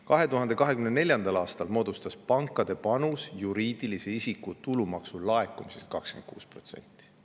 2024. aastal moodustas pankade panus juriidilise isiku tulumaksu laekumisest 26%.